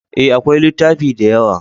E, akwai littafi da yawa.